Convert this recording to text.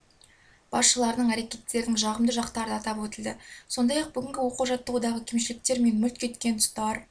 басшыларының әрекеттерінің жағымды жақтары да атап өтілді сондай-ақ бүгінгі оқу-жаттығудағы кемшіліктер мен мүлт кеткен тұстар